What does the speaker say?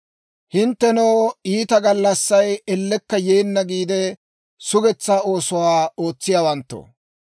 Hinttenoo, iita gallassay ellekka yeenna giide, sugetsaa oosuwaa ootsiyaawanttoo,